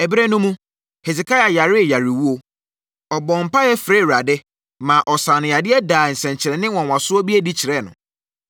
Ɛberɛ no mu, Hesekia yaree yarewuo. Ɔbɔɔ mpaeɛ frɛɛ Awurade, maa ɔsaa no yadeɛ daa nsɛnkyerɛnneɛ nwanwasoɔ bi adi kyerɛɛ no.